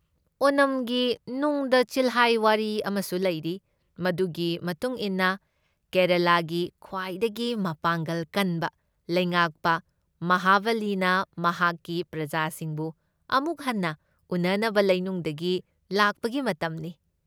ꯑꯣꯅꯝꯒꯤ ꯅꯨꯡꯗ ꯆꯤꯜꯍꯥꯏ ꯋꯥꯔꯤ ꯑꯃꯁꯨ ꯂꯩꯔꯤ, ꯃꯗꯨꯒꯤ ꯃꯇꯨꯡ ꯏꯟꯅ ꯀꯦꯔꯂꯥꯒꯤ ꯈ꯭ꯋꯥꯏꯗꯒꯤ ꯃꯄꯥꯡꯒꯜ ꯀꯟꯕ ꯂꯩꯉꯥꯛꯄ ꯃꯍꯥꯕꯂꯤꯅ ꯃꯍꯥꯛꯀꯤ ꯄ꯭ꯔꯖꯥꯁꯤꯡꯕꯨ ꯑꯃꯨꯛ ꯍꯟꯅ ꯎꯅꯅꯕ ꯂꯩꯅꯨꯡꯗꯒꯤ ꯂꯥꯛꯄꯒꯤ ꯃꯇꯝꯅꯤ ꯫